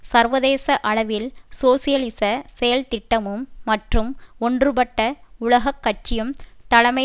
சர்வதேச அளவில் சோசியலிச செயல் திட்டமும் மற்றும் ஒன்றுபட்ட உலக கட்சியும் தலைமை